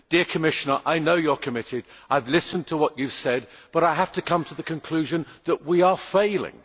Dear Commissioner, I know you are committed, I have listen to what you have said, but I have to come to the conclusion that we are failing.